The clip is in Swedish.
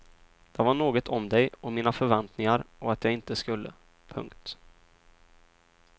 Det var något om dig och mina förväntningar och att jag inte skulle. punkt